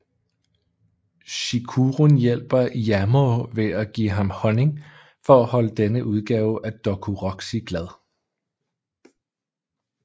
Chikurun hjælper Yamoh ved at give ham honning for at holde denne udgave af Dokuroxy glad